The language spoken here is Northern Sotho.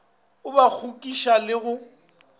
o ba kgogiša le go